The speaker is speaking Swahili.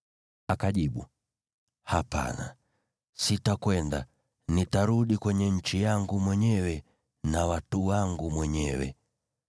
Akajibu, “Hapana, sitakwenda; nitarudi kwenye nchi yangu mwenyewe na watu wangu mwenyewe.”